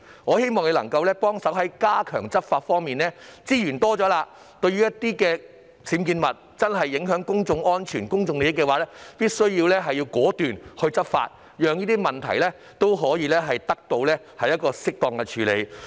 我希望局長能夠加強執法，利用騰出的資源，針對確實會影響公眾安全和公眾利益的僭建物果斷執法，讓問題得到適當處理。